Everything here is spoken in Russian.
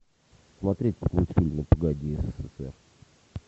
смотреть мультфильм ну погоди ссср